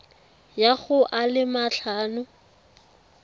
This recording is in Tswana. ya go a le matlhano